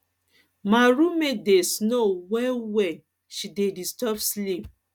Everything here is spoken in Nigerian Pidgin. my room mate dey snore well well she dey disturb sleep